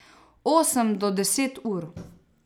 Osem do deset ur.